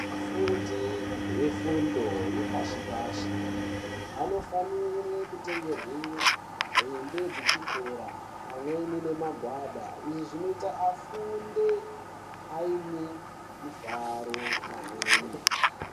Afundi efundo yepashi pashi anofanire kutengerwe hembe dzechikora pamweni nemagwada, izvi zvinoite afunde aine mifaro pamweni.